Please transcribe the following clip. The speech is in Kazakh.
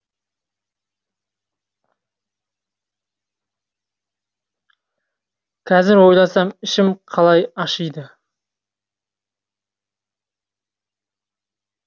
қазір ойласам ішім қалай ашиды